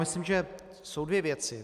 Myslím, že jsou dvě věci.